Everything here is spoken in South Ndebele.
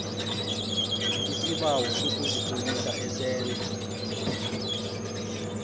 isibawo sokuzitlolisa esentha